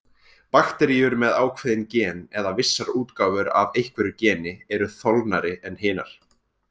Bakteríur með ákveðin gen, eða vissar útgáfur af einhverju geni, eru þolnari en hinar.